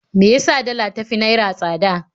Me ya sa dala ta fi naira tsada?